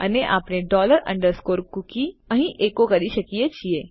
અને આપણે dollar underscore cookie અહીં એકો કરી શકીએ છીએ